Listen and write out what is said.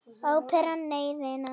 Óperan, nei vinan.